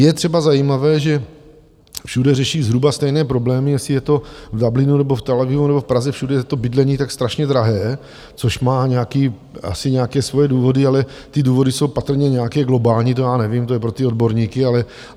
Je třeba zajímavé, že všude řeší zhruba stejné problémy, jestli je to v Dublinu nebo v Tel Avivu nebo v Praze, všude je to bydlení tak strašně drahé, což má nějaké asi svoje důvody, ale ty důvody jsou patrně nějaké globální, to já nevím, to je pro ty odborníky.